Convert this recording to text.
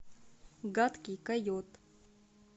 гадкий койот